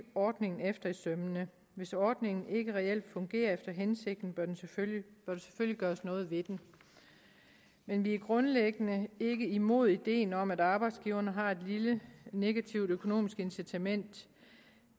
ordningen efter i sømmene hvis ordningen ikke reelt fungerer efter hensigten bør der selvfølgelig gøres noget ved den men vi er grundlæggende ikke imod ideen om at arbejdsgiverne har et lille negativt økonomisk incitament